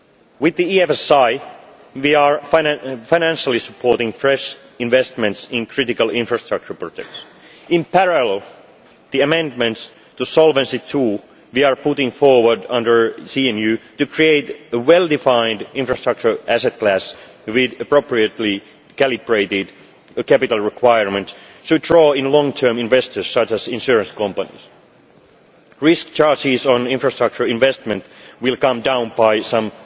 With the EFSI we are financially supporting fresh investments in critical infrastructure projects. In parallel, the amendments to Solvency II that we are putting forward under CMU, to create a well defined infrastructure asset class with appropriately calibrated capital requirements, should draw in long term investors such as insurance companies. Risk charges on infrastructure investment will come down by some